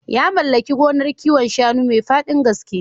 Ya mallaki gonar kiwon shanu mai faɗin gaske.